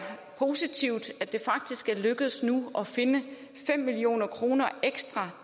positivt at det faktisk nu er lykkedes at finde fem million kroner ekstra